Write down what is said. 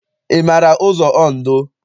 Ị maara ụzọ Ondo?